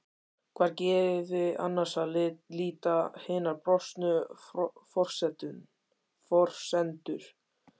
Hvar gefi annars að líta hinar brostnu forsendur?